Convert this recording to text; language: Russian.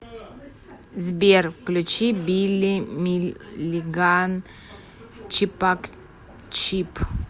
сбер включи билли миллиган чипачип